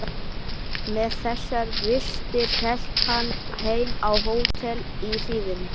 Með þessar vistir hélt hann heim á hótel í hríðinni.